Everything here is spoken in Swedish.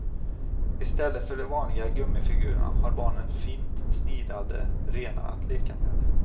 I stället för de vanliga gummifigurerna har barnen fint snidade renar att leka med.